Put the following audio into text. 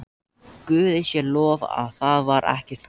Guði sé lof að það var ekki gert.